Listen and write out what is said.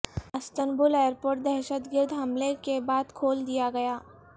Istanbul airport دہشت گرد حملے کے بعد کھول دیا گیا